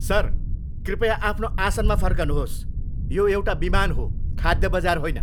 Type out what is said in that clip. Sir, कृपया आफ्नो आसनमा फर्कनुहोस्। यो एउटा विमान हो, खाद्य बजार होइन!